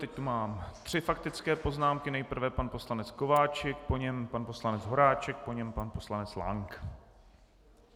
Teď tu mám tři faktické poznámky - nejprve pan poslanec Kováčik, po něm pan poslanec Horáček, po něm pan poslanec Lank.